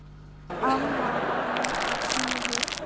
Amma var líka sniðug.